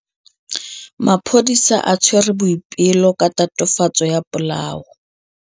Maphodisa a tshwere Boipelo ka tatofatsô ya polaô.